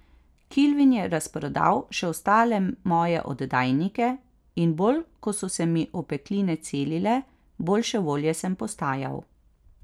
Kilvin je razprodal še ostale moje oddajnike, in bolj ko so se mi opekline celile, boljše volje sem postajal.